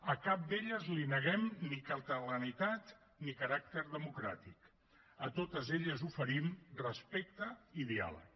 a cap d’elles li neguem ni catalanitat ni caràcter democràtic a totes elles oferim respecte i diàleg